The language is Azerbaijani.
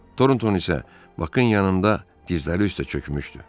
Tornton isə Bakın yanında dizləri üstə çökmüşdü.